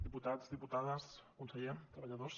diputats diputades conseller treballadors